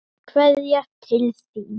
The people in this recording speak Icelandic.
Kveðja til þín.